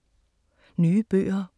Nye bøger